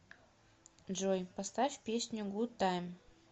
джой поставь песню гуд тайм